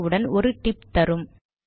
திறந்த உடன் ஒரு டிப் தரும்